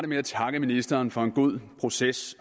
med at takke ministeren for en god proces